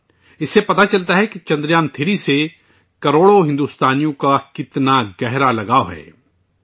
اس سے پتہ چلتا ہے کہ چندریان 3 سے لاکھوں بھارتی کتنے گہرے طور پر جڑے ہوئے ہیں